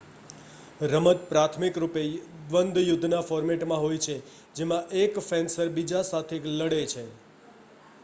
રમત પ્રાથમિક રૂપે દ્વન્દ્વ યુદ્ધના ફૉર્મેટમાં હોય છે જેમાં એક ફેન્સર બીજા સાથે લડે છે